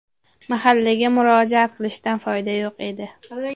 Mahallaga murojaat qilishdan foyda yo‘q edi.